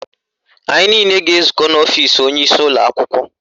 Anyị niile ga-ezukọ n'ọfisi onyeisi ụlọakwụkwọ